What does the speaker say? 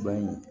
Dɔnku